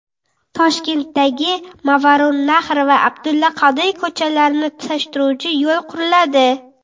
Toshkentdagi Movarounnahr va Abdulla Qodiriy ko‘chalarini tutashtiruvchi yo‘l quriladi.